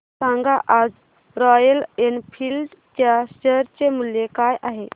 सांगा आज Royal Enfield च्या शेअर चे मूल्य काय आहे